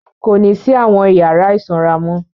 Kò ní sí àwọn ìyàrá ìsanra mọ́.